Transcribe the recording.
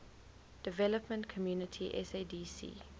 development community sadc